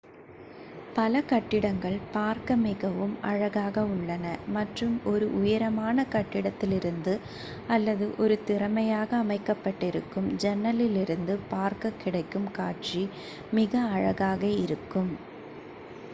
பல கட்டிடங்கள் பார்க்க மிகவும் அழகாக உள்ளன மற்றும் ஒரு உயரமான கட்டிடத்திலிருந்து அல்லது ஒரு திறமையாக அமைக்கப் பட்டிருக்கும் ஜன்னலிலிருந்து பார்க்கக் கிடைக்கும் காட்சி மிக அழகாக இருக்கும்